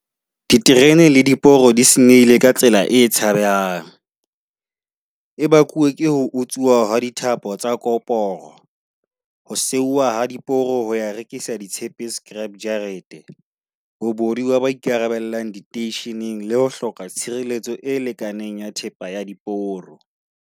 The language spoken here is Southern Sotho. Diterene le diporo di senyehile ka tsela e tshabehang. E bakuwe ke ho utsuwa hwa dithapo tsa koporo, ho seuwa ha diporo ho ya rekisa ditshepe scrap jarete. Bobodu ba ba ikarabellang diteisheneng le ho hloka tshireletso e lekaneng ya thepa ya diporo.